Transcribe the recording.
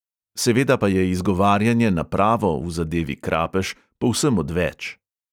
Seveda pa je izgovarjanje na pravo v zadevi krapež povsem odveč.